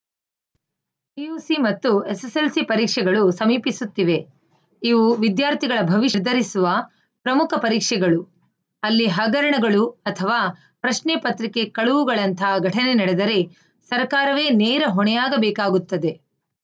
PUC ಮತ್ತು SSLC ಪರೀಕ್ಷೆಗಳು ಸಮೀಪಿಸುತ್ತಿವೆ ಇವು ವಿದ್ಯಾರ್ಥಿಗಳ ಭವಿಷ್ಯವನ್ನು ನಿರ್ಧರಿಸುವ ಪ್ರಮುಖ ಪರೀಕ್ಷೆಗಳು ಅಲ್ಲಿ ಹಗರಣಗಳು ಅಥವಾ ಪ್ರಶ್ನೆಪತ್ರಿಕೆ ಕಳುವುಗಳಂತಹ ಘಟನೆ ನಡೆದರೆ ಸರ್ಕಾರವೇ ನೇರ ಹೊಣೆಯಾಗಬೇಕಾಗುತ್ತದೆ